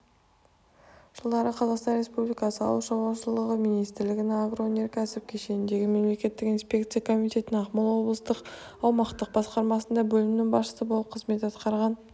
жылдары қазақстан республикасы ауыл шаруашылығы министрлігінің агроөнеркәсіп кешеніндегі мемлекеттік инспекция комитетінің ақмола облыстық аумақтық басқармасында бөлім басшысы болып қызмет атқарған